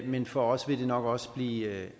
men for os vil det nok også blive